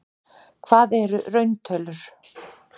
Hvað eru rauntölur?